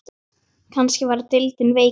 Kannski er deildin veikari?